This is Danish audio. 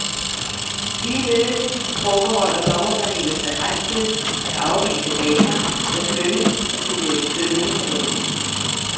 Ligeledes forbeholder dommerpanelet sig ret til, at afvise baner, der skønnes at kunne virke stødende på nogen.